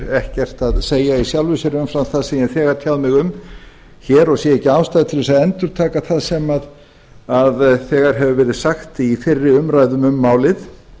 ekkert að segja í sjálfu sér umfram það sem ég hef þegar tjáð mig um hér og sé ekki ástæðu til að endurtaka það sem þegar hefur verið sagt í fyrri umræðum um málið